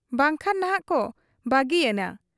ᱵᱟᱝᱠᱷᱟᱱ ᱱᱷᱟᱜ ᱠᱚ ᱵᱟᱹᱜᱤᱭᱟᱹᱧᱟ ᱾'